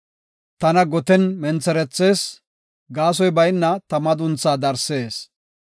Tana goten mentherethees; gaasoy bayna ta madunthaa darsees.